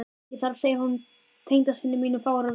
Ég þarf að segja honum tengdasyni mínum fáeinar veiðisögur.